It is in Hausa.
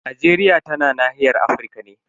Najeriya tana nahiyar Afirka ne.